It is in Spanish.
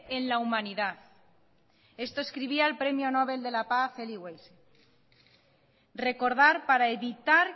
en la humanidad esto escribía el premio nobel de la paz elie wiesel recordar para evitar